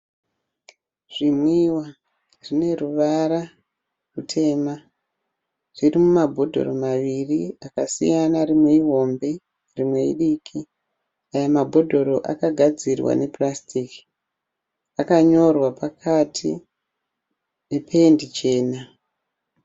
Zvinwiwa zvine ruvara rutema zviri mumabhodhoro maviri akasiyana. Rimwe ihombe rimwe idiki. Aya mabhodhoro akagadzirwa nepurasitiki. Akanyorwa pakati nependi chena.